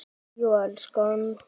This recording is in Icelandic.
Jú, elskan.